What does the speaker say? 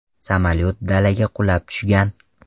Samolyot dalaga qulab tushgan.